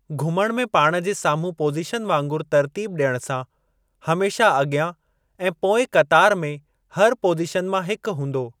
घुमणु में पाण जे सामुहूं पोज़ीशन वांगुरु तरतीब ॾियण सां, हमेशा अॻियां ऐं पोएं क़तार में हर पोज़ीशन मां हिकु हूंदो।